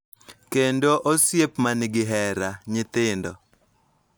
Kendo osiep ma nigi hera, nyithindo .